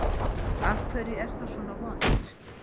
Af hverju er það svona vont?